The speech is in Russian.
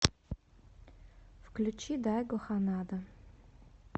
включи дайго ханада